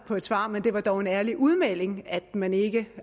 på et svar men det var dog en ærlig udmelding at man ikke